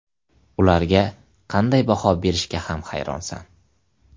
Ularga qanday baho berishga ham hayronsan.